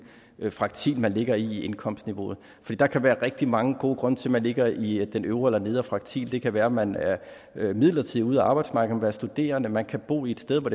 fraktil man ligger i indkomstniveauet der kan være rigtig mange gode grunde til at man ligger i den øvre eller nedre fraktil det kan være at man er midlertidigt ude af arbejdsmarkedet være studerende man kan bo et sted hvor